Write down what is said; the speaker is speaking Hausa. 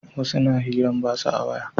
Wasu na hiran batsa ta waya